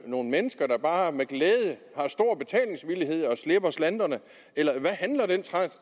nogle mennesker der bare har med glæde slipper slanterne eller hvad handler den